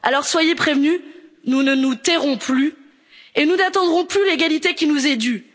Europe. Alors, soyez prévenus, nous ne nous tairons plus et nous n'attendrons plus l'égalité qui nous est